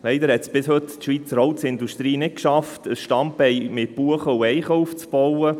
Leider hat es die Schweizer Holzindustrie bis heute nicht geschafft, ein Standbein mit Buchen und Eichen aufzubauen.